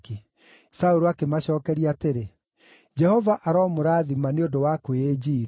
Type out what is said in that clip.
Saũlũ akĩmacookeria atĩrĩ, “Jehova aromũrathima nĩ ũndũ wa kwĩĩnjiiria.